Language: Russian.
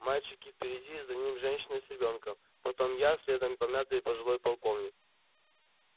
мальчик впереди за ним женщина с ребёнком потом я следом помятый пожилой полковник